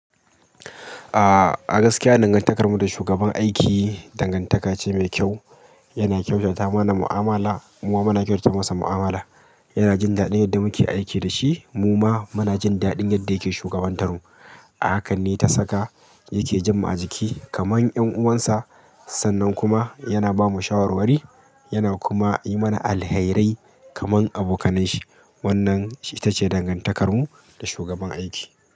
Ah, a gaskiya dangantakarmu da shugaban aiki dangantaka ce mai kyau. Yana kyautata mana mu'amala. Mu ma muna kyautata masa mu'amala. Yana jin daɗin yadda muke aiki da shi. Mu ma muna jin daɗin yadda yake shugabantar mu. A Hakan ne ta saka yake jammu a jiki kaman 'yan uwansa. Sannan kuma yana ba mu shawarwari. Yana kuma yi mana alherai kaman abokanan shi. Wannan ita ce dangantakarmu da shugaban aiki.